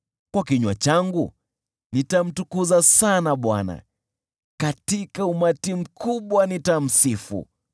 Kwa kinywa changu nitamtukuza sana Bwana , katika umati mkubwa nitamsifu.